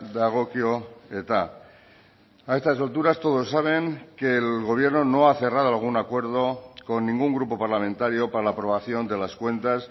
dagokio eta a estas alturas todos saben que el gobierno no ha cerrado algún acuerdo con ningún grupo parlamentario para la aprobación de las cuentas